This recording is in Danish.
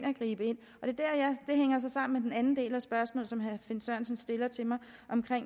og gribe ind det hænger så sammen med den anden del af spørgsmålet som herre finn sørensen stiller til mig om